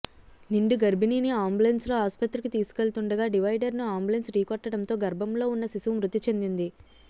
నిండు గర్భిణిని అంబులెన్స్ లో ఆస్పత్రికి తీసుకెళ్తుండగా డివైడర్ ను అంబులెన్స్ ఢీకొట్టడంతో గర్భంలో ఉన్న శిశువు మృతి చెందింది